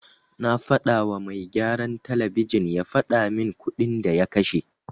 Na fadawa mai gyaran talabijin ya fadamin kuɗin da ya kashe.